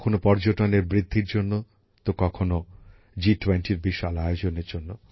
কখনো পর্যটনের বৃদ্ধির জন্য তো কখনো জিটোয়েন্টির বিশাল আয়োজনের জন্য